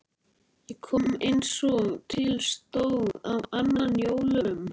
Ég kom eins og til stóð á annan jólum.